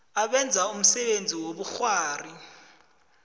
abenza umsebenzi wobukghwari